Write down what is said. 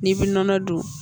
N'i bɛ nɔnɔ dun